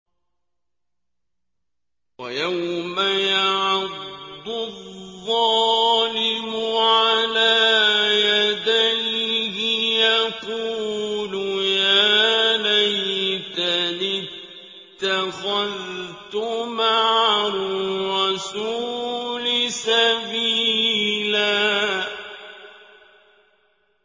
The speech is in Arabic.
وَيَوْمَ يَعَضُّ الظَّالِمُ عَلَىٰ يَدَيْهِ يَقُولُ يَا لَيْتَنِي اتَّخَذْتُ مَعَ الرَّسُولِ سَبِيلًا